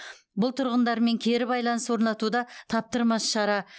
бұл тұрғындармен кері байланыс орнатуда таптырмас шара